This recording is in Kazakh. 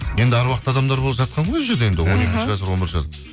енді әруақты адамдар ол жатқан ғой ол жерде